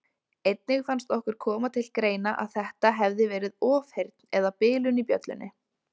Einnig fannst okkur koma til greina að þetta hefði verið ofheyrn eða bilun í bjöllunni.